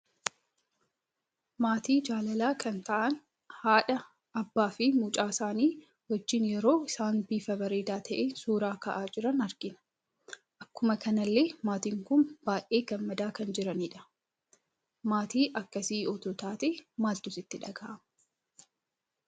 Maatii jaalala kan ta'aan haadha, Abbaa, fi mucaa isaani wajjin yeroo isaan bifa bareeda ta'een suuraa ka'aa jiran argina. Akkuma kanallee maatiin kun baay'ee gammada kan jiranidha. Maatii akkasii utuu taatee maaltu sitti dhaga'ama?